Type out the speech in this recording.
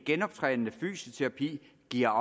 genoptrænende fysioterapi giver